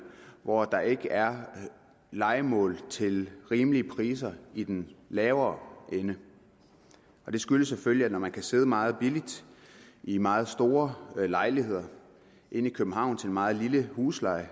hvor der ikke er lejemål til rimelige priser i den lavere ende og det skyldes selvfølgelig at man kan sidde meget billigt i meget store lejligheder inde i københavn til en meget lille husleje